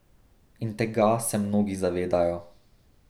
In tega se mnogi zavedajo.